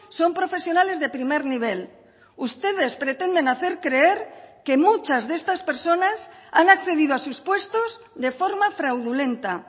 son profesionales de primer nivel ustedes pretenden hacer creer que muchas de estas personas han accedido a sus puestos de forma fraudulenta